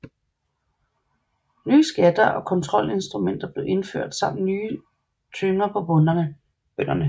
Nye skatter og kontrolinstrumenter blev indført samt nye tynger på bønderne